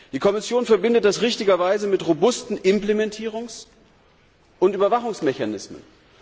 Die Kommission verbindet das richtigerweise mit robusten Implementierungs und Überwachungsmechanismen.